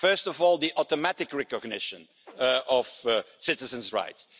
First of all, the automatic recognition of citizens' rights.